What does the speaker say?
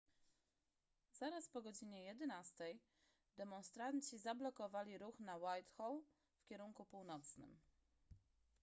zaraz po godzinie 11:00 demonstranci zablokowali ruch na whitehall w kierunku północnym